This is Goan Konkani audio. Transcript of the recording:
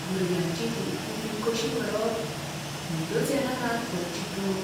भुरग्यांची ही इतली फी कशी भरप? न्हीदच येना रातभर चिंतून.